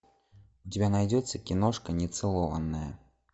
у тебя найдется киношка нецелованная